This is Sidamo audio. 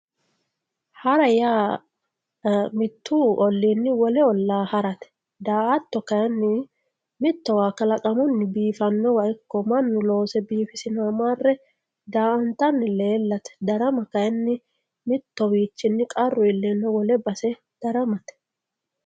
Ha'ra yaa mitu olliini wole olla ha'rate daa"atto kayinni mittowa kalaqamuni biifanowa ikko mannu loose biifisinowa marre daa"attani leellate, darama kayinni mittowichini qarru iillenna wole base daramate.